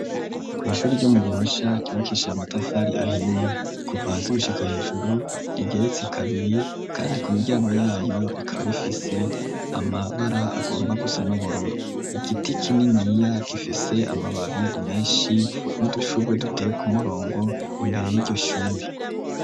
Kw'ishuri ryo mu gihosha kiwakishae amatafari ahiye kuvasi gushika hejuru rigeretse kabiri, kandi ku miryango yayo rikaba rifise amabara agomba gusa n'ubururu igiti kininiya gifise amababi menshi n'udushurwe duteye ku murongo imbere y'igishuri.